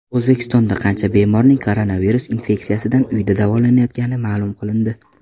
O‘zbekistonda qancha bemorning koronavirus infeksiyasidan uyda davolanayotgani ma’lum qilindi.